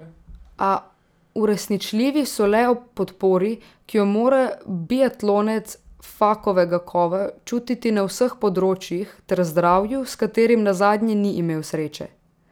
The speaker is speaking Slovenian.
A uresničljivi so le ob podpori, ki jo mora biatlonec Fakovega kova čutiti na vseh področjih, ter zdravju, s katerim nazadnje ni imel sreče.